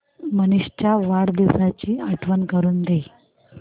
मनीष च्या वाढदिवसाची आठवण करून दे